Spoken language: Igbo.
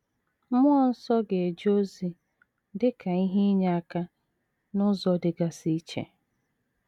Mmụọ nsọ ga - eje ozi dị ka ihe inyeaka n’ụzọ dịgasị iche.